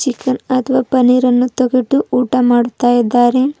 ಪನ್ನೀರ್ ಅನ್ನು ತೆಗೆದು ಊಟ ಮಾಡ್ತಾ ಇದಾರೆ.